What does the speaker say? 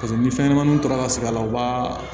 Paseke ni fɛnɲɛnɛmaninw tora ka segin a la u b'a